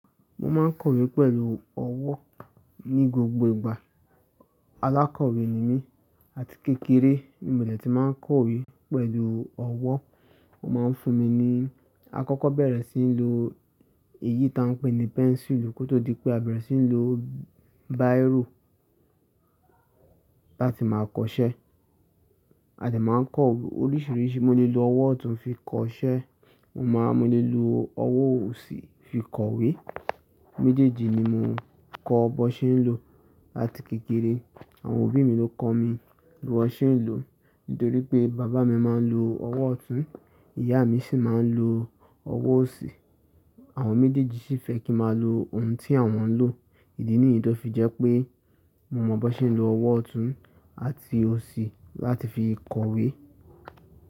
Mo máa ń kọ̀wé pẹ̀lú ọwọ́ ní gbogbo ìgbà. Alákọ̀wé ni mí làti kékeré. Nígbà tí máa ń kọ̀wé pẹ̀lú ọwọ́, mo máa ń fúnni ní àkọ́kọ́ bẹ̀rẹ̀ síi ní lo èyí táa ń pè ní pẹ́nsùlù kótó di pé a bẹ̀rẹ̀ síí ní lo báyirò láti máa kọṣẹ́. A dè máa ń kọ oríṣiríṣi. Mo lè lo ọwọ́ ọ̀tún fi kọṣẹ́, mo lè lo ọwọ́ òsì fi kọ̀wé. Méjèèjì ni mò ń kọ̀ bó ṣe ń lò láti kékeré. Àwọn òbí mi ló kọ mi bí wọn ṣe ń lò. Nítorí pé bàbá mi máa ń lo ọwọ́ ọ̀tún, ìyá mi sì máa ń lo ọwọ́ òsì. Àwọn mídíìjì sì fẹ́ kí máa lo ohun tí àwọn ń lò. Ìdí nìyí tó fi jẹ́ pé mo mọ bó ṣe ń lo ọwọ́ ọ̀tún àti òsì láti fi kọ̀wé.